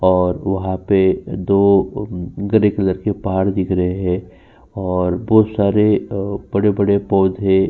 और वहाँ पे दो ग्रे कलर के पहाड़ दिख रहे हैं और बोहोत सारे अ बड़े-बड़े पौधे --